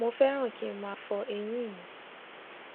mo féràn kí n máa fọ eyín mi